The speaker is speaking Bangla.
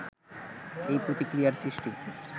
এই প্রতিক্রিয়ার সৃষ্টি